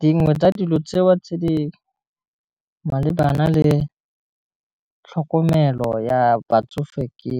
Dingwe tsa dilo tseo tse di malebana le tlhokomelo ya batsofe ke